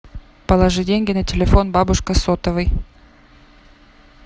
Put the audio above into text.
положи деньги на телефон бабушка сотовый